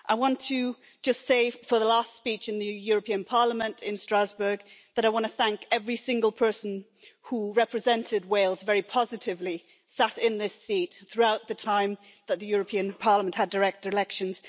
I want to just say, for the last speech in the European Parliament in Strasbourg, that I want to thank every single person who represented Wales very positively, sat in this seat throughout the time that the European Parliament had direct elections.